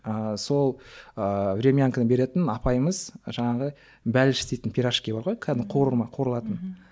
ыыы сол ыыы времянканы беретін апайымыз жаңағы бәліш істейтін пирожки бар ғой кәдімгі қуырма қуырылатын мхм